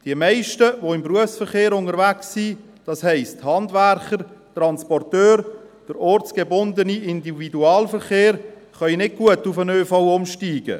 Die meisten, die im Berufsverkehr unterwegs sind, das heisst, Handwerker, Transporteure, der ortsgebundene Individualverkehr, können nicht gut auf den ÖV umsteigen.